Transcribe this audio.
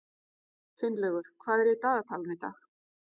Finnlaugur, hvað er í dagatalinu í dag?